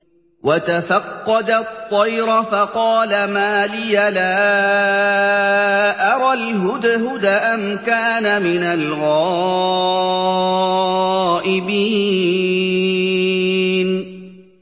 وَتَفَقَّدَ الطَّيْرَ فَقَالَ مَا لِيَ لَا أَرَى الْهُدْهُدَ أَمْ كَانَ مِنَ الْغَائِبِينَ